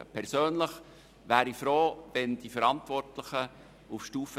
Persönlich wäre ich froh, wenn die Verantwortlichen auf Stufe